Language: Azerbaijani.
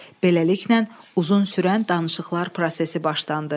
Beləliklə, uzun sürən danışıqlar prosesi başlandı.